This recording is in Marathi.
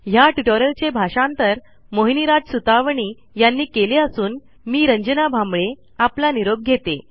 ह्या ट्युटोरियलचे भाषांतर मोहिनीराज सुतवणी यांनी केले असून मी रंजना भांबळे आपला निरोप घेते160